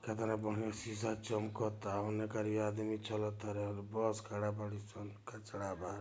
लग रहा शीशा चमकता उने आदमी चला तारे और बस खड़ा बाड़ीसन कचरा बा।